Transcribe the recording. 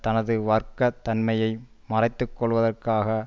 தனது வர்க்க தன்மையை மறைத்து கொள்வதற்காக